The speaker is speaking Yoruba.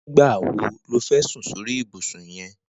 Nigbà wó ló fẹ̀ sùn sóri ibùsùn yèn